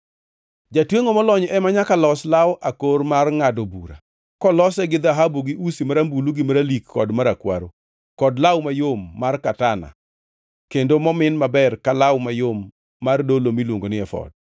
“Jatwengʼo molony ema nyaka los law akor mar ngʼado bura, kolose gi dhahabu gi usi marambulu gi maralik kod marakwaro kod law mayom mar katana kendo momin maber ka law mayom mar dolo miluongo ni efod.